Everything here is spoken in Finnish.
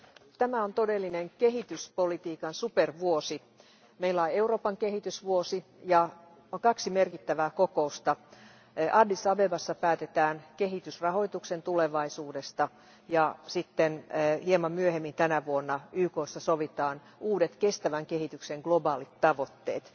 Arvoisa puhemies, tämä on todellinen kehityspolitiikan supervuosi. Meillä on Euroopan kehitysvuosi ja kaksi merkittävää kokousta. Addis Abebassa päätetään kehitysrahoituksen tulevaisuudesta ja sitten hieman myöhemmin tänä vuonna YKssa sovitaan uudet kestävän kehityksen globaalit tavoitteet.